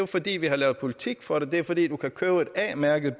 fordi vi har lavet politik for det det er fordi du kan købe en a mærket